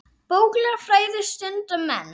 Bókleg fræði stunda menn.